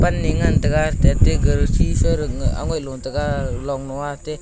panle ngan taiga tate ghar sisarak angoi lo taiga longnua atey--